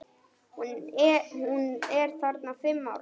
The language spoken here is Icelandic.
Hún er þarna fimm ára.